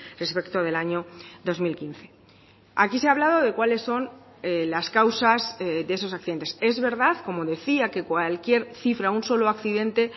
respecto del año dos mil quince aquí se ha hablado de cuáles son las causas de esos accidentes es verdad como decía que cualquier cifra un solo accidente